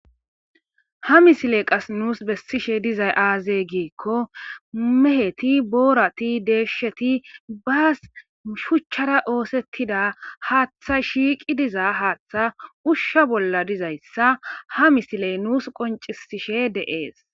ha misile qas nuus bessishe dizay aaze giikko meheti boorati deeshsheti baas shuchchara oosettida haaththa shiiqi dizaa haaththa ushsha bolla dizayssa ha misiley nuus qoncisishe de7ees